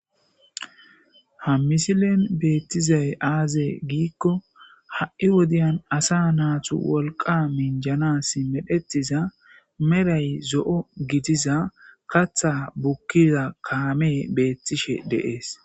Ha misilen bettizay azze gikoa ha'i wode asa natu wolqa minjanas go'etiza meray zo'o guduza kaththa bukiza kame betishe de's